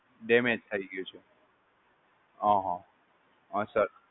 damage થય ગયું છે. અહ હ સર